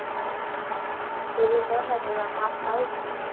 જેવી મહેનત તેવા માર્ક્સ આવશે.